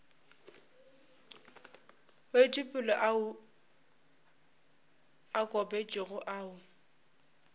wetšopele ao a kopantšwego ao